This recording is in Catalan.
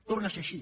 torna a ser així